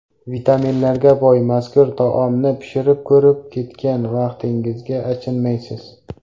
Vitaminlarga boy mazkur taomni pishirib ko‘rib, ketgan vaqtingizga achinmaysiz.